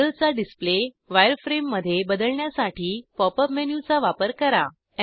मॉडेलचा डिस्प्ले वायरफ्रेममध्ये बदलण्यासाठी पॉप अप मेनूचा वापर करा